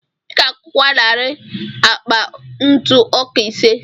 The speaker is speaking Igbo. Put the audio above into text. Ị ga-agụkwa narị akpa ntụ ọka ise.